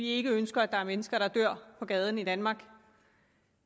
ikke ønsker at der er mennesker der dør på gaden i danmark